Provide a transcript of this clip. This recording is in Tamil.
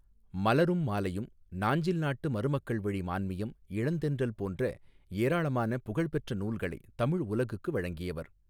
மலரும் மாலையும் நாஞ்சில் நாட்டு மருமக்கள் வழி மான்மியம் இளந்தென்றல் போன்ற ஏராளமான புகழ் பெற்ற நூல்களை தமிழ் உலகுக்கு வழங்கியவர்.